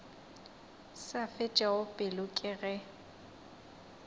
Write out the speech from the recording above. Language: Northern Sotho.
sa fetšego pelo ke ge